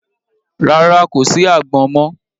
Rárá, kò sí àgbọn mọ.